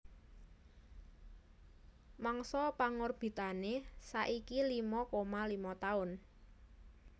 Mangsa pangorbitané saiki limo koma limo taun